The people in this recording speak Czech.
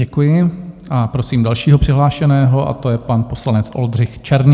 Děkuji a prosím dalšího přihlášeného, a to je pan poslanec Oldřich Černý.